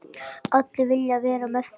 Allir vilja vera með þeim.